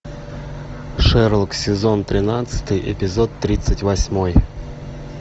шерлок сезон тринадцатый эпизод тридцать восьмой